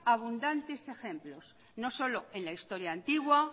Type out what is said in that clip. abundantes ejemplos no solo en la historia antigua